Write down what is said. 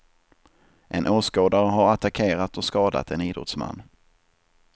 En åskådare har attackerat och skadat en idrottsman.